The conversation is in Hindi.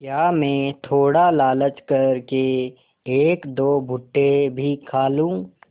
क्या मैं थोड़ा लालच कर के एकदो भुट्टे भी खा लूँ